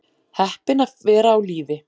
Heppin að vera á lífi